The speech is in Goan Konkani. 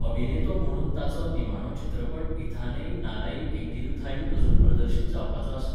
अभिनेतो म्हणून ताचो निमाणो चित्रपट इथानई नालाई एंगीरुथाई अजून प्रदर्शीत जावपाचो आसा.